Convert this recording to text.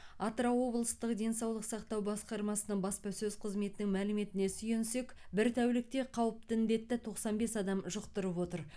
атырау облыстық денсаулық сақтау басқармасының баспасөз қызметінің мәліметіне сүйенсек бір тәулікте қауіпті індетті тоқсан бес адам жұқтырып отыр